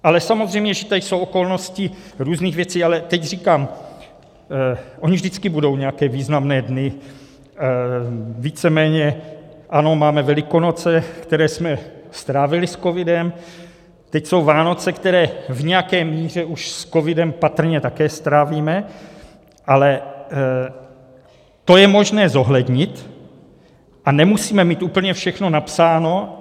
Ale samozřejmě, že tady jsou okolností různých věcí, ale teď říkám, ony vždycky budou nějaké významné dny, víceméně ano, máme Velikonoce, které jsme strávili s covidem, teď jsou Vánoce, které v nějaké míře už s covidem patrně také strávíme, ale to je možné zohlednit a nemusíme mít úplně všechno napsáno.